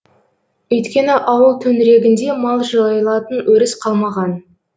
өйткені ауыл төңірегінде мал жайылатын өріс қалмаған